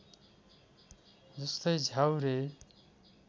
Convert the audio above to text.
जस्तै झ्याउरे